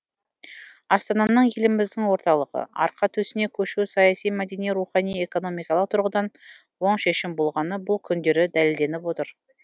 астананың еліміздің орталығы арқа төсіне көшуі саяси мәдени рухани экономикалық тұрғыдан оң шешім болғаны бұл күндері дәлелденіп отыр